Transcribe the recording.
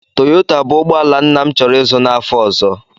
Toyota bụ ụgbọ ala nna m chọrọ ịzụ n'afọ ọzọ